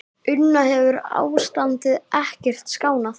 Una, hefur ástandið ekkert skánað?